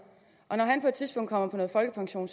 når han på et tidspunkt kommer på folkepension